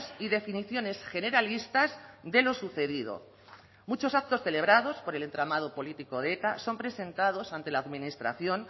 y definiciones generalistas de lo sucedido muchos actos celebrados por el entramado político de eta son presentados ante la administración